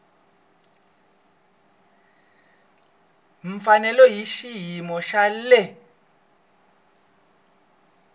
mfanelo hi xiyimo xa le